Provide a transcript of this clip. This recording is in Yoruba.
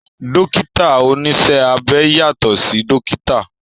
Dókítà oníṣẹ́ abẹ yàtọ̀ sí dókítà